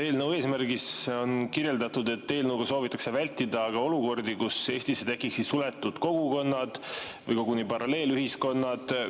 Eelnõu eesmärgist rääkides on kirjeldatud, et eelnõuga soovitakse vältida olukordi, kus Eestisse tekiksid suletud kogukonnad või koguni paralleelühiskonnad.